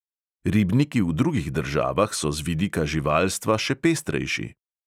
Ribniki v drugih državah so z vidika živalstva še pestrejši!